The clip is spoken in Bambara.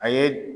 A ye